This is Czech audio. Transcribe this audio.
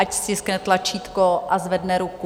Ať stiskne tlačítko a zvedne ruku.